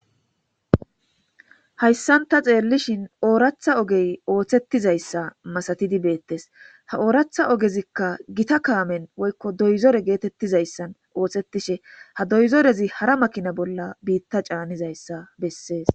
Hayssanta ceellishin ooratha ogey ooththettizayssa masatidi beettes ha ooratha ogezikka gita kaamen woykko doyzore geetettizayssan ooththettishe ha doyzorezi hara makina bolla biitta caanizayssa bessees.